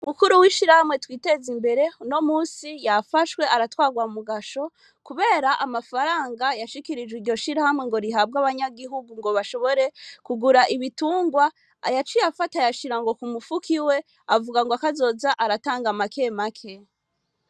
Umukuru w'ishirahamwe Twitezimbere, uno musi yafashwe aratwarwa mu gasho, kubera amafaranga yashikirijwe iryo shirahamwe ngo rihabwe abanyagihugu ngo bashobore kugura ibitungwa, yaciye afata ngo ayashira kumufuko iwe, avuga ngo kazoza aratanga make make.